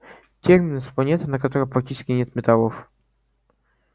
терминус планета на которой практически нет металлов